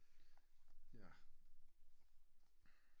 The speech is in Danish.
Jaer